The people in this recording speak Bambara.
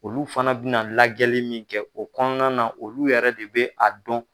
Olu fana bɛna lajɛli min kɛ o kɔnɔna na, olu yɛrɛ de bɛ a dɔn.